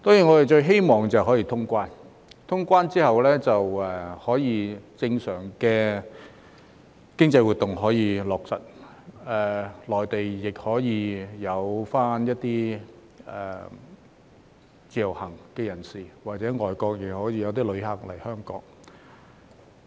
我們最希望是可以通關，因為通關後便可恢復正常的經濟活動，而內地的一些自由行人士或外國旅客亦可以來港。